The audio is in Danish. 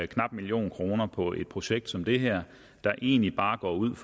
knap en million kroner på et projekt som det her der egentlig bare går ud